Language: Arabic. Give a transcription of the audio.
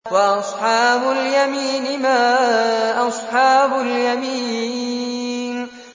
وَأَصْحَابُ الْيَمِينِ مَا أَصْحَابُ الْيَمِينِ